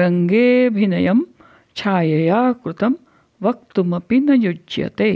रङ्गेऽभिनयं छायया कृतं वक्तुमपि न युज्यते